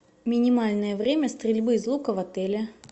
минимальное время стрельбы из лука в отеле